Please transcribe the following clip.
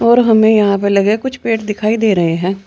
और हमें यहां पर लगे कुछ पेड़ दिखाई दे रहे हैं।